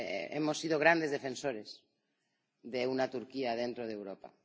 Hemos sido grandes defensores de una Turquía dentro de Europa.